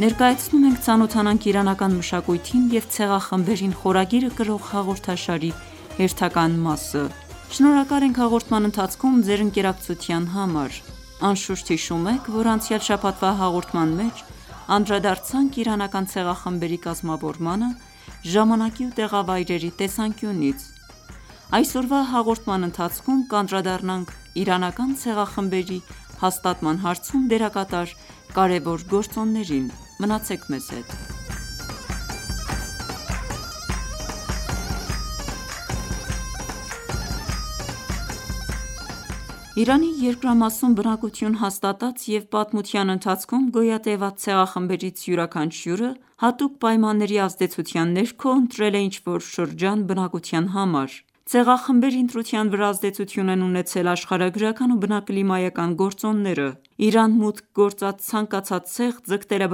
Ներկայացնում ենք «Ծանոթանանք իրանական մշակույթին և ցեղախմբերին» խորագիրը կրող հաղորդաշարի հերթական մասը։ Շնորհակալ ենք հաղորդման ընթացքում ձեր ընկերակցության համար։ Անշուշտ հիշում եք, որ անցյալ շաբաթվա հաղորդման մեջ անդրադարձանք իրանական ցեղախմբերի կազմավորմանը ժամանակի ու տեղավայրերի տեսանկյունից։ Այսօրվա հաղորդման ընթացքում կանդրադառնանք իրանական ցեղախմբերի հաստատման հարցում դերակատար կարևոր գործոններին։ Մնացեք մեզ հետ։ Իրանի երկրամասում բնակություն հաստատած և պատմության ընթացքում գոյատևած ցեղախմբերից յուրաքանչյուրը հատուկ պայմանների ազդեցության ներքո ընտրել է ինչ-որ շրջան բնակության համար։ Ցեղախմբերի ընտրության վրա ազդեցություն են ունեցել աշխարհագրական ու բնակլիմայական գործոնները։ Իրան մուտք գործած ցանկացած ցեղ ձգտել է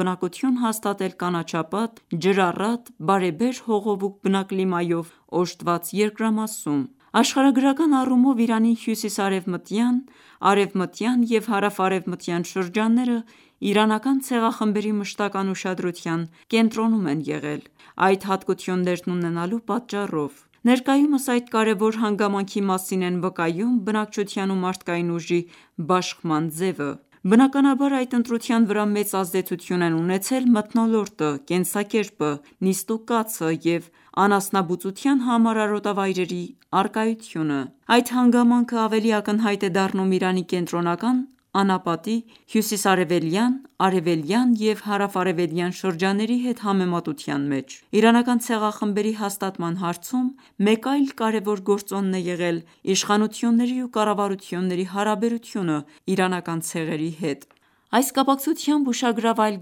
բնակություն հաստատել կանաչապատ, ջրառատ, բարեբեր հողով ու բնակլիմայով օժտված երկրամասում։ Աշխարհագրական առումով Իրանի հյուսիս-արևմտյան, արևմտյան և հարավ-արևմտյան շրջանները իրանական ցեղախմբերի մշտական ուշադրության կենտրոնում են եղել՝ այդ հատկություններն ունենալու պատճառով։ Ներկայումս այդ կարևոր հանգամանքի մասին են վկայում բնակչության ու մարդկային ուժի բաշխման ձևը։ Բնականաբար այդ ընտրության վրա մեծ ազդեցություն են ունեցել մթնոլորտը, կենսակերպը, նիստ ու կացը և անասնաբուծության համար արոտավայրերի առկայությունը։ Այդ հանգամանքը ավելի ակնհայտ է դառնում Իրանի կենտրոնական անապատի, հյուսիս-արևելյան, արևելյան և հարավ-արևելյան շրջանների հետ համեմատության մեջ։ Իրանական ցեղախմբերի հաստատման հարցում մեկ այլ կարևոր գործոն է եղել իշխանությունների ու կառավարությունների հարաբերությունը իրանական ցեղերի հետ։ Այս կապակցությամբ ուշագրավ այլ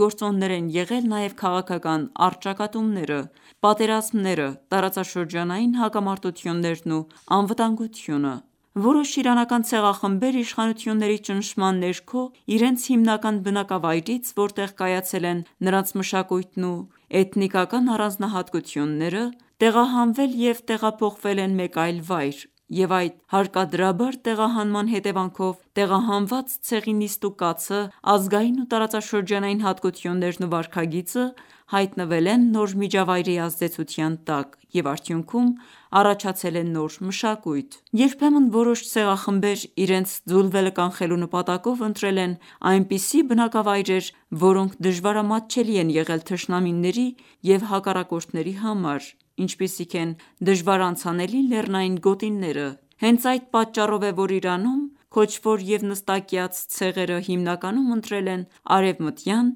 գործոններ են եղել նաև քաղաքական առճակատումները, պատերազմները, տարածաշրջանային հակամարտություններն ու անվտանգությունը։ Որոշ իրանական ցեղախմբեր իշխանությունների ճնշման ներքո իրենց հիմնական բնակավայրից, որտեղ կայացել են նրանց մշակույթն ու էթնիկական առանձնահատկությունները, տեղահանվել և տեղափոխվել են մեկ այլ վայր և այդ հարկադրաբար տեղահանման հետևանքով տեղահանված ցեղի նիստ ու կացը, ազգային ու տարածաշրջանային հատկություններն ու վարքագիծը հայտնվել են նոր միջավայրի ազդեցության տակ և արդյունքում առաջացել է նոր մշակույթ։ Երբեմն որոշ ցեղախմբեր իրենց ձուլվելը կանխելու նպատակով ընտրել են այնպիսի բնակավայրեր, որոնք դժվարամատչելի են եղել թշնամիների ու հակառակորդների համար, ինչպիսիք են դժվարանցանելի լեռնային գոտիները։ Հենց այդ պատճառով է, որ Իրանում քոչվոր և նստակյաց ցեղերը հիմնականում ընտրել են արևմտյան,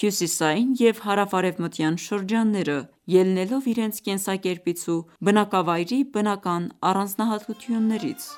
հյուսիսային և հարավ-արևմտյան շրջանները՝ ելնելով իրենց կենսակերպից ու բնկավայրի բնական առանձնահատկություններից։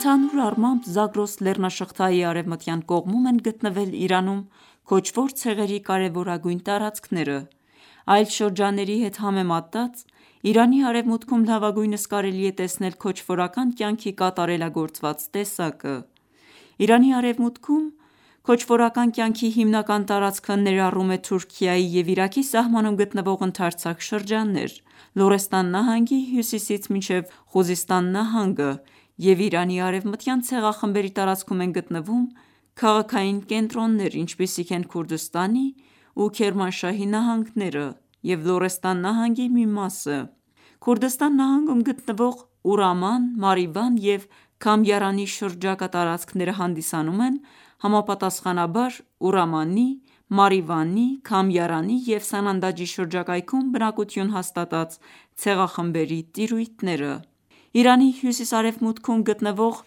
Ընդհանուր առմամբ Զագրոս լեռնաշղթայի արևմտյան կողմում են գտնվել Իրանում քոչվոր ցեղերի կարևորագույն տարածքները։ Այլ շրջանների հետ համեմատած Իրանի արևմուտքում լավագույնս կարելի է տեսնել քոչվորական կյանքի կատարելագործված տեսակը։ Իրանի արևմուտքում քոչվորական կյանքի հիմնական տարածքը ներառում է Թուրքիայի և Իրաքի սահմանում գտնվող ընդարձակ շրջաններ՝ Լորեստան նահանգի հյուսիսից մինչև Խուզստան նահանգը և Իրանի արևմտյան ցեղախմբերի տարածքում են գտնվում քաղաքային կենտրոններ, ինչպիսիք են՝ Քուրդստանի ու Քերմանշահի նահանգները և Լորեստան նահանգի մի մասը։ Քուրդստան նահանգում գտնվող Ուրաման, Մարիվան և Քամիարանի շրջակա տարածքները հանդիսանում են համապատասխանաբար Ուրամանի, Մարիվանի, Քամիարանի և Սանանդաջի շրջակայքում բնակություն հաստատած ցեղախմբերի տիրույթները։ Իրանի հյուսիս-արևմուտքում գտնվող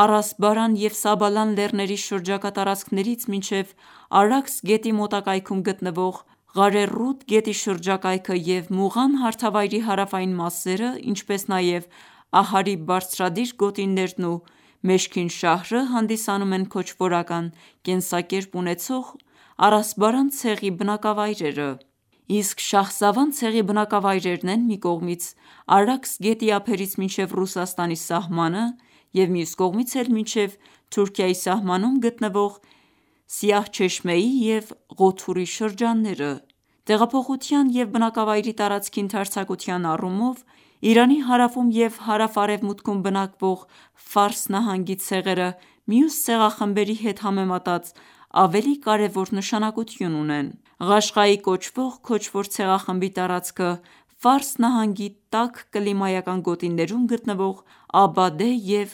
Արասբարան և Սաբալան լեռների շրջակա տարածքներից մինչև Արաքս գետի մոտակայքում գտնվող Ղարեռուդ գետի շրջակայքը և Մուղան հարթավայրի հարավային մասերը, ինչպես նաև Ահարի բարձրադիր գոտիներն ու Մեշքինշահրը հանդիսանում են քոչվորական կենսակերպ ունեցող արասբարան ցեղի բնակավայրերը։ Իսկ Շահսավան ցեղի բնակավայրերն են մի կողմից Արաքս գետի ափերից մինչև Ռուսաստանի սահմանը և մյուս կողմից էլ մինչև Թուրքիայի սահմանում գտնվող Սիահչեշմեյի և Ղոթուրի շրջանները։ Տեղափոխության և բնակավայրի տարածքի ընդարձակության առումով Իրանի հարավում և հարավ-արևմուտքում բնակվող Ֆարս նահանգի ցեղերը մյուս ցեղախմբերի հետ համեմատած ավելի կարևոր նշանակություն ունեն։ Ղաշղայի կոչվող քոչվոր ցեղախմբի տարածքը Ֆարս նահանգի տաք կլիմայական գոտիներում գտնվող Աբադեհ և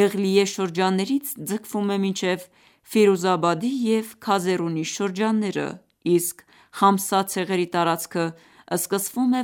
Էղլիյեհ շրջաններից ձգվում է մինչև և Քազերունի շրջանները, իսկ Խամսա ցեղերի տարածքը սկսվում է